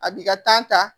A b'i ka ta